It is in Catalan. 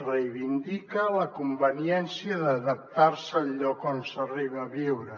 reivindica la conveniència d’adaptar se al lloc on s’arriba a viure